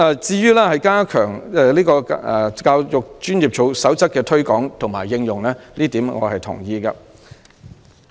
至於加強《香港教育專業守則》的推廣及應用，我對此是同意的。